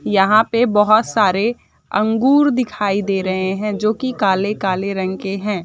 यहाँ पे बहुत सारे अंगूर दिखाई दे रहे है जो की काले काले रंग के हैं।